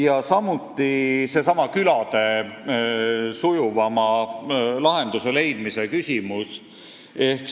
Ja siis veel seesama küladele sujuvama lahenduse leidmise küsimus.